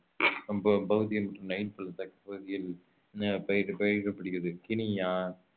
ப~ பகுதிகள் நைல் பள்ளத்தாக்கு பகுதிகள் அஹ் பயிரட~ பயிரடப்படுகிறது கினியா